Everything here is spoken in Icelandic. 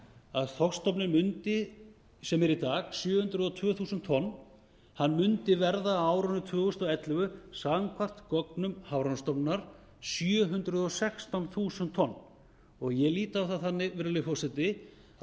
að þorskstofninn sem er í dag sjö þúsund tvö hundruð tonn mundi verða á árinu tvö þúsund og ellefu samkvæmt gögnum hafrannsóknastofnunar sjö hundruð og sextán þúsund tonn ég lít á það þannig virðulegi forseti að það